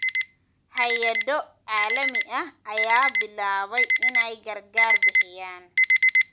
Hay�ado caalami ah ayaa bilaabay inay gargaar bixiyaan.